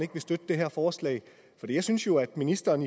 ikke vil støtte det her forslag og jeg synes jo at ministeren